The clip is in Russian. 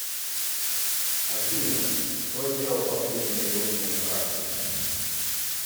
афина кто сделал последний перевод мне на карту